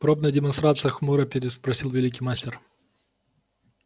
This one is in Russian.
пробная демонстрация хмуро переспросил великий мастер